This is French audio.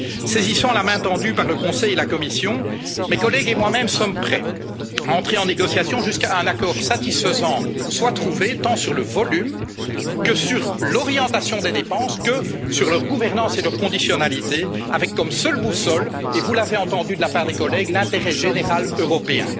Saisissant la main tendue par le Conseil et la Commission, mes collègues et moi même sommes prêts à entrer en négociations jusqu'à ce qu'un accord satisfaisant soit trouvé, tant sur le plan du volume et sur l'orientation des dépenses que sur leur gouvernance et leur conditionnalité, avec comme boussole, et vous l'avez entendu de la part des collègues, l'intérêt général européen.